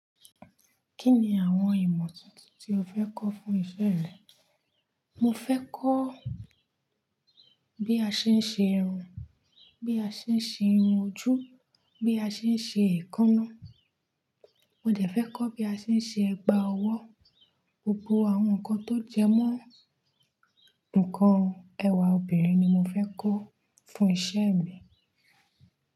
Kí ni àwọn ìmọ̀ tuntun tí o fẹ́ kọ́ fún iṣẹ́ rẹ? Mo fẹ́ kọ́ bí a ṣe ń ṣe irun, bí a ṣe ń ṣe irun ojú, bí a ṣe ń ṣe èékánná. Mo dẹ̀ fẹ́ kọ́ bí a ṣe ń ṣe ẹ̀gbà ọwọ́. Gbogbo àwọn nǹkan tó jẹmọ́ nǹkan ẹwà obìnrin ni mo fẹ́ kọ́ fún iṣẹ́ mi.